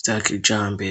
vy'akijambere.